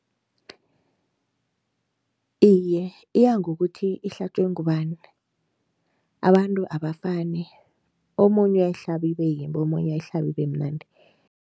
Iye, iyangokuthi ihlatjwe ngubani. Abantu abafani, omunye uyayihlabi ibeyimbi, omunye ayihlabe ibemnandi.